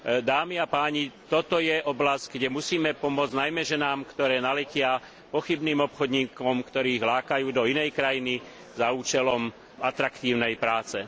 Dámy a páni, toto je oblasť, kde musíme pomôcť najmä ženám, ktoré naletia pochybným obchodníkom, ktorí ich lákajú do inej krajiny za účelom atraktívnej práce.